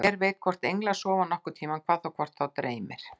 Hver veit hvort englar sofa nokkurn tímann, hvað þá hvort þá dreymir.